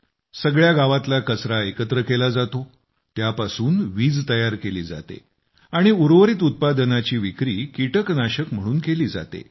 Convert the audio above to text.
सगळ्या गावातल्या कचरा एकत्र केला जातो त्यापासून वीज तयार केली जाते आणि उर्वरित उत्पादनाची विक्री कीटकनाशक म्हणून केली जाते